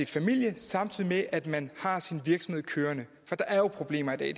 familie samtidig med at man har sin virksomhed kørende for der er jo problemer i